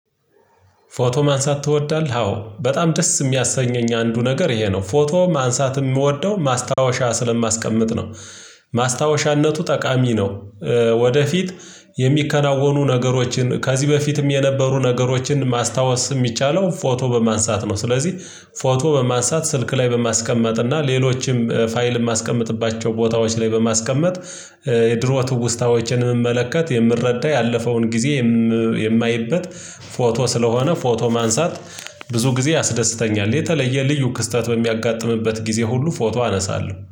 ፎቶ ማንሳት ትወዳለህ አዎ በጣም ደስ የሚያሰኘኝ አንዱ ነገር ይሄ ነው ፎቶ ማንሳት የምወደው ማስታወሻ ስለማስቀምጥ ነው። ማስታወሻነቱ ጠቃሚ ነው ወደፊት የሚከናወኑ ነገሮችን ከዚህ በፊትም የነበሩ ነገሮችን ማስታወስ የሚቻለው ፎቶ በማንሳት ነው። ስለዚህ ፎቶ በማንሳት ስልክ ላይ በማስቀመጥ እና ሌሎችም ፋይል የማስቀምጥባቸው ቦታዎች ላይ በማስቀመጥ የድሮ ትውስታዎችን የምመለከት የምረዳ ያለፈውን ጊዜ የማይበት ፎቶ ስለሆነ ፎቶ ማንሳት ብዙ ጊዜ ያስደስተኛል የተለየ ልዩ ክስተት በሚያጋጥምበት ጊዜ ሁሉ ፎቶ አነሳለሁ።